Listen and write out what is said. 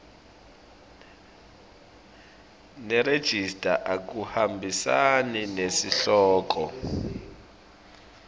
nerejista akuhambisani nesihloko